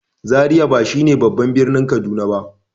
Zariya ba shi ne babban birnin Kaduna ba.